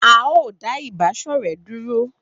A o da iba ṣọrẹ dúró